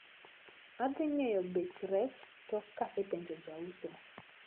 Adhi ng`eyo bech rech tok kasepenjo jauso.